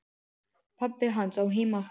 Pabbi hans á heima þar.